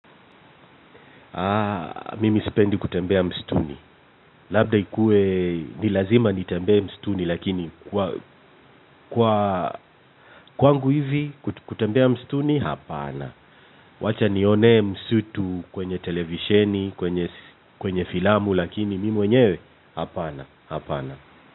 Mimi sipendi kutembea misituni. Labda ikuwe ni lazima nitembee msituni. Lakini kwa kwangu hivi kutembea mstuni hapana. Wacha nione msitu kwenye televisheni kwenye filamu lakini mimi mwenyewe hapana.